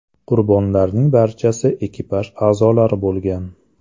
Qurbonlarning barchasi ekipaj a’zolari bo‘lgan.